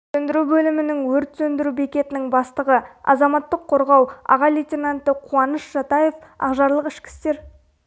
сөндіру бөлімінің өрт сөндіру бекетінің бастығы азаматтық қорғау аға лейтенанты қуаныш жатаев ақжарлық ішкі істер